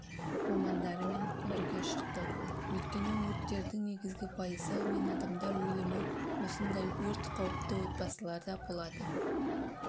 мамандарымен бірге шықты өйткені өрттердің негізгі пайызы мен адамдар өлімі осындай өрт қауіпті отбасыларда болады